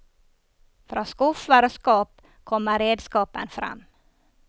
Fra skuffer og skap kommer redskapen frem.